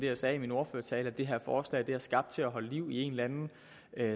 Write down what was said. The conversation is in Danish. jeg sagde i min ordførertale nemlig at det her forslag er skabt til at holde liv i en eller anden